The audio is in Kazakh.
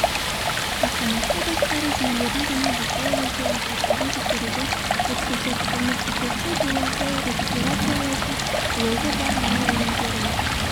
автоматты басқару жүйелерін және бақылау-өлшеу аспаптарын тексеруден өткізді көмірсутекті буларды рекуперациялайтын блогы бар мұнай өнімдерін